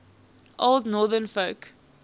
old northern folk